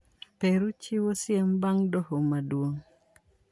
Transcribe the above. Peru chiwo siem bang'dohoh maduong'